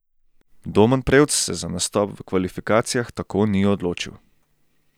Domen prevc se za nastop v kvalifikacijah tako ni odločil.